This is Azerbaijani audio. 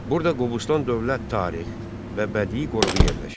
Burada Qobustan dövlət tarix və bədii qoruğu yerləşir.